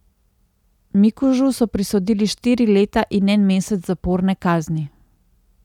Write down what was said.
Mikužu so prisodili štiri leta in en mesec zaporne kazni.